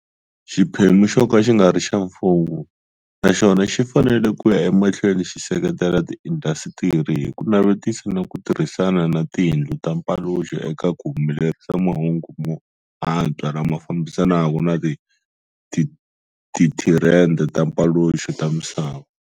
Xiphemu xoka xingari xa mfumo na xona xi fanele ku ya emahlweni xi seketela tiindhasitiri hi ku navetisa na ku tirhisana na tindlu ta mpaluxo eka ku humelerisa mahungu mo antswa lama fambisanaka na tithirende ta mpaluxo ta misava.